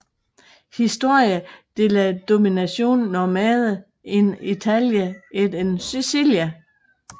Histoire de la domination normande en Italie et en Sicilie